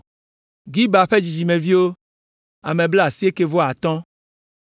Gibar ƒe dzidzimeviwo, ame blaasiekɛ-vɔ-atɔ̃ (95).